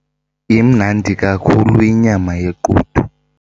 Imnandi kakhulu inyama yequdu.